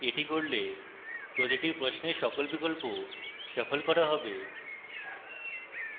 এটি করলে প্রতিটি প্রশ্নের সকল বিকল্প shuffle করা হবে